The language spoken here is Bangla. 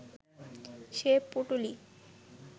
সে পুঁটুলি